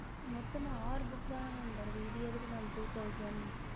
மொத்தமும் ஆறு book தான வருது இதுக்கு எதுக்கு mam two thousand